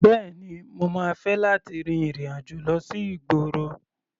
Bẹ́ẹ̀ni, mo máa fẹ́ láti rin ìrìn-àjò lọ sí ìgboro.